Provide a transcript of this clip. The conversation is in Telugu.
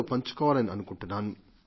పంచుకోవాలనుకుంటున్నాను